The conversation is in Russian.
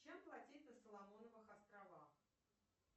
чем платить на соломоновых островах